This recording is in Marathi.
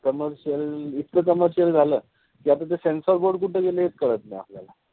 Commercial इतकं commercial झालं. कि आता ते censor board कुठं गेलं हेच कळत नाई आपल्याला.